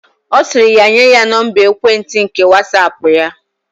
Osiri ya nye ya Nọmba ekwentị nke Whatsaapp ya.